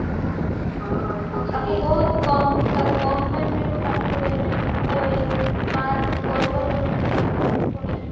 ଆଉ ତାକୁ ବହୁତ କମ କମ time ମିଳିବ ପାଠ ପଢିବା ପାଇଁ ତାକୁ mark score କରିବା ପାଇଁ ଅଛି ପୁଣି